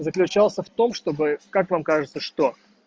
заключался в том чтобы как вам кажется что